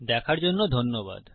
দেখার জন্য ধন্যবাদ